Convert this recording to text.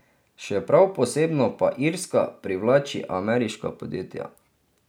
Še prav posebno pa Irska privlači ameriška podjetja.